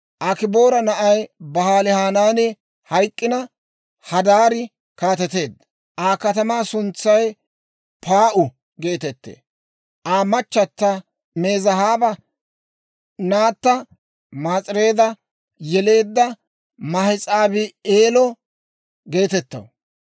Akiboora na'aa Ba'aalihanaani hayk'k'ina, Hadaari kaateteedda; Aa katamaa suntsay Paa'u geetettee; Aa machata Mezaahaaba naatta Maas'ireeda yeleedda Mahes'aabi'eelo geetettaw.